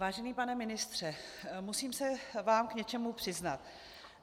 Vážený pane ministře, musím se vám k něčemu přiznat.